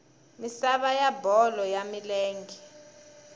misava ya bolo ya milenge